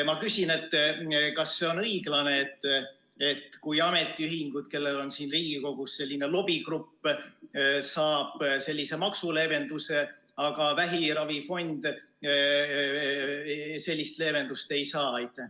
Ma küsin: kas see on õiglane, et ametiühingud, kellel on Riigikogus lobigrupp, saavad sellise maksuleevenduse, aga vähiravifond sellist leevendust ei saa?